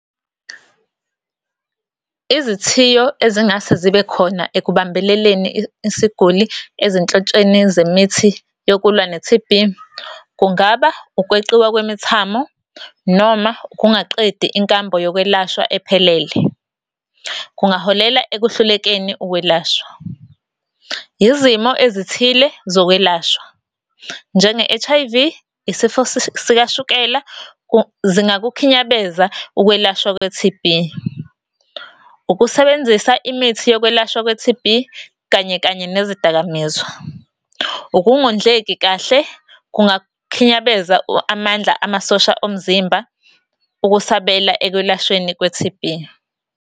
Izithiyo ezingase zibe khona ekubambeleleni isiguli ezinhlotsheni zemithi yokulwa ne T_B kungaba, ukweqiwa kwemithamo, noma ukungaqedi inkambo yokwelashwa ephelele. Kungaholela ekuhlulekeni ukwelashwa. Izimo ezithile zokwelashwa, njenge-H_I_V, isifo sikashukela zingakukhinyabeza ukwelashwa kwe-T_B. Ukusebenzisa imithi yokwelashwa kwe-T_B kanye kanye nezidakamizwa. Ukungondleki kahle, kungakhinyabeza amandla amasosha omzimba ukusabela ekulashweni kwe-T_B.